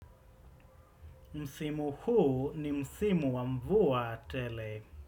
Msimu huu ni msimu wa mvua tele.